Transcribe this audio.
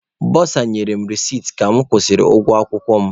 Bọsa nyere m resiti ka mụ kwụsịrị ụgwọ akwụkwọ m.